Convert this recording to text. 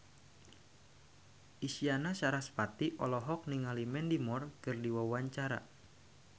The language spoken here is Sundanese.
Isyana Sarasvati olohok ningali Mandy Moore keur diwawancara